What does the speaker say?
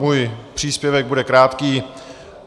Můj příspěvek bude krátký.